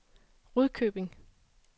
Rudkøbing